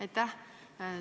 Aitäh!